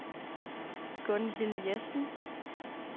Gunhild Jessen